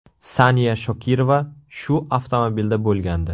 Saniya Shokirova shu avtomobilda bo‘lgandi.